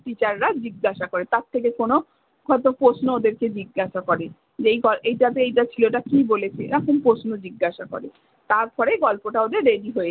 teacher রা জিজ্ঞাসা করে। তার থেকে কোনো হয়তো প্রশ্ন ওদেরকে জিজ্ঞাসা করে। যে এই গ এইটাতে এইটা ছিল এইটা কী বলেছে। এরকম প্রশ্ন জিজ্ঞাসা করে। তারপরে গল্পটা ওদের ready হয়ে